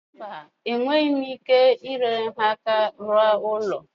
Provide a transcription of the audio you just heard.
Mba, enweghị m ike inyere ha aka rụọ ụlọ.